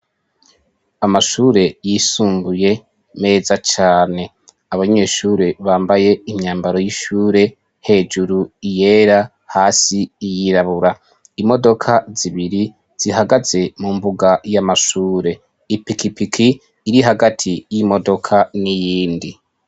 Amashure y'isumbuye meza cane, abanyeshure bambaye imyambaro y'ishure hejuru yera hasi isa iy'irabura, imodoka zibiri zihagaze mu mbuga y'amashure, ipikipiki iri hagati y'imodoka n’iyindi.